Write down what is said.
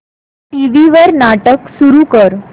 TV वर नाटक सुरू कर